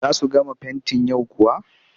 Za su gama fentin yau kuwa?